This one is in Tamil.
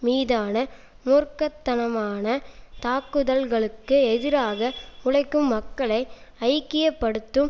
மீதான மூர்க்கத்தனமானத்தாக்குதல்களுக்கு எதிராக உழைக்கும் மக்களை ஐக்கிய படுத்தும்